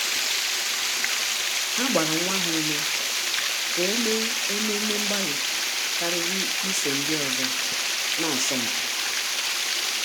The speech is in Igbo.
Há gbàrà nwa ha ume kà ọ́ mèé ememe mgbalị kàrị́rị́ ísò ndị ọzọ nà-ásọ́ mpi.